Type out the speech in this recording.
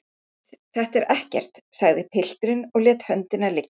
Iss, þetta er ekkert, sagði pilturinn og lét höndina liggja.